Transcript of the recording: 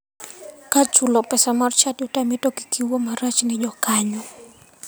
Ka chulo pesa mar chadi otami to kik iwuo marach ne jokanyo.